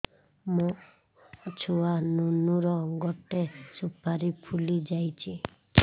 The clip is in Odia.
ମୋ ଛୁଆ ନୁନୁ ର ଗଟେ ସୁପାରୀ ଫୁଲି ଯାଇଛି